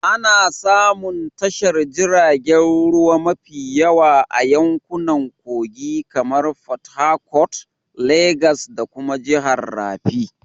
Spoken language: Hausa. Ana samun tashar jiragen ruwa mafi yawa a yankunan kogi kamar porthercourt, Legas da kuma jihar rafi